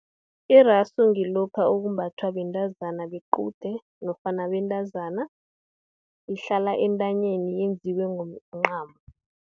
Irasu, ngilokha okumbathwa bentazana bequde, nofana abentazana, ihlala entanyeni, yenziwe ngomncamo.